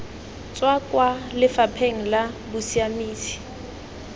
tswa kwa lefapheng la bosiamisi